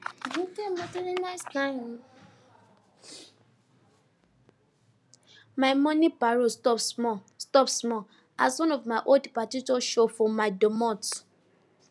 my mornin parole stop small stop small as one of my old padi just show for my domot